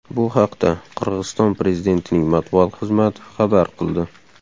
Bu haqda Qirg‘iziston prezidentining matbuot xizmati xabar qildi .